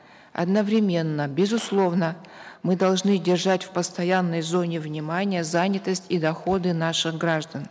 одновременно безусловно мы должны держать в постоянной зоне внимания занятость и доходы наших граждан